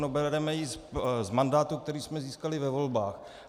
No bereme ji z mandátu, který jsme získali ve volbách.